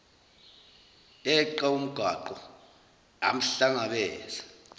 yeqa umgwaqo yamhlangabeza